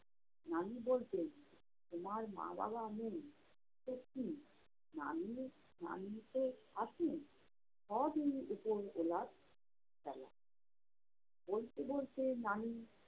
নানী বলতেন- তোমার মা-বাবা নেই তো কী? নানী নানী তো আছেন, সবই উপরওলার খেলা। বলতে বলতে নানী